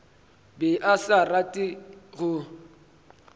be a sa rate go